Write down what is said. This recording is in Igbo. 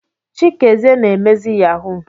Chikezie na emezi yahoo.